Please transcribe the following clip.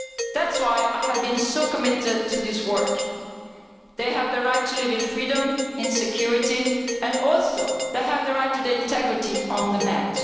That is why I have been so committed to this work. They have the right to live in freedom and security, and they also have the right to integrity on the Net.